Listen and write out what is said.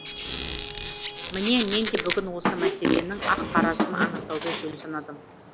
міне мен де бүгін осы мәселенің ақ қарасын анықтауды жөн санадым